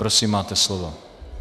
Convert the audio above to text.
Prosím, máte slovo.